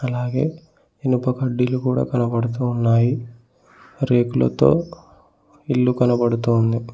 అలాగే ఇనుప కడ్డీలు కూడా కనబడుతూ ఉన్నాయి రేకులతో ఇల్లు కనబడుతోంది.